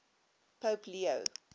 pope leo